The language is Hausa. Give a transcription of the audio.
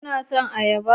Kuna son ayaba?